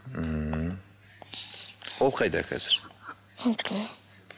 ммм ол қайда қазір